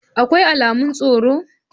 Akwai alamun tsaro?